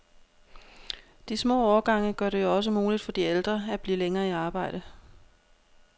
De små årgange gør det jo også muligt for de ældre at blive længere i arbejde.